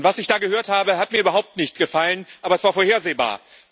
Und was ich da gehört habe, hat mir überhaupt nicht gefallen, aber es war vorhersehbar.